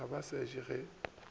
ga ba se je ge